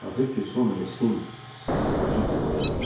Axır ki, son meskin ekipajı gəmiyə mindi.